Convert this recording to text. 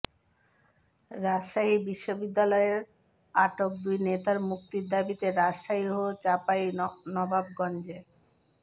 রাজশাহী বিশ্ববিদ্যালয়ের আটক দুই নেতার মুক্তির দাবিতে রাজশাহী ও চাঁপাইনবাবগঞ্জে